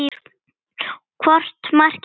Hvort markið er betra?